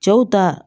Cɛw ta